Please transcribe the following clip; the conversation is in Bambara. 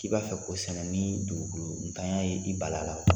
K'i b'a fɛ ko sɛnɛ ni dugukoloko ntanya ye i bal'a la wa?